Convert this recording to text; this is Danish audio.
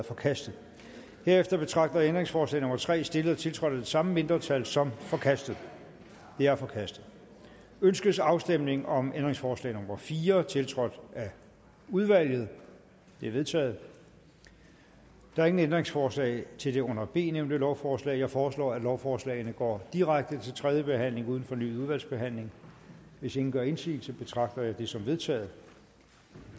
forkastet herefter betragter jeg ændringsforslag nummer tre stillet og tiltrådt af det samme mindretal som forkastet det er forkastet ønskes afstemning om ændringsforslag nummer fire tiltrådt af udvalget det er vedtaget der er ingen ændringsforslag til det under b nævnte lovforslag jeg foreslår at lovforslagene går direkte til tredje behandling uden fornyet udvalgsbehandling hvis ingen gør indsigelse betragter jeg dette som vedtaget